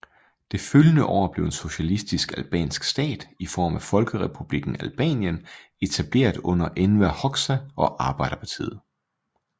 Det følgende år blev en socialistisk albansk stat i form af Folkerepublikken Albanien etableret under Enver Hoxha og Arbejderpartiet